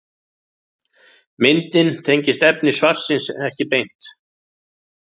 Myndin tengist efni svarsins ekki beint.